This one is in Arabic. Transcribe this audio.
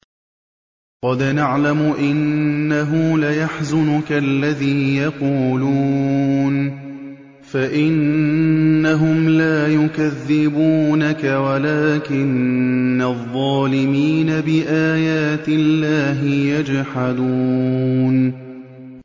قَدْ نَعْلَمُ إِنَّهُ لَيَحْزُنُكَ الَّذِي يَقُولُونَ ۖ فَإِنَّهُمْ لَا يُكَذِّبُونَكَ وَلَٰكِنَّ الظَّالِمِينَ بِآيَاتِ اللَّهِ يَجْحَدُونَ